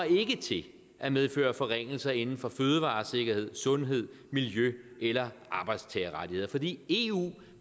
til at medføre forringelser inden for fødevaresikkerhed sundhed miljø eller arbejdstagerrettigheder fordi eu